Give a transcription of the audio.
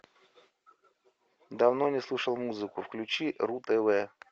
давно не слушал музыку включи ру тв